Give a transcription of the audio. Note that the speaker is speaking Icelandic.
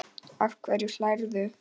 Að hverju hlærðu?